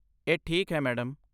ਇਹ ਠੀਕ ਹੈ, ਮੈਡਮ।